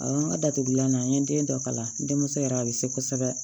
Awɔ n ka datugulan na n ye den dɔ kala n denmuso yɛrɛ a bɛ se kosɛbɛ